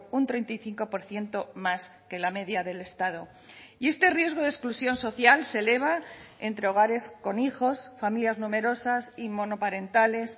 un treinta y cinco por ciento más que la media del estado y este riesgo de exclusión social se eleva entre hogares con hijos familias numerosas y monoparentales